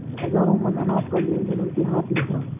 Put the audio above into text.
हजारों मन अनाज का लेनदेन उनके हाथ में था